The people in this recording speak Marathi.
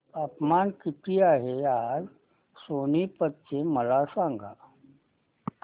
तापमान किती आहे आज सोनीपत चे मला सांगा